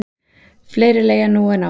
Fleiri leigja nú en áður.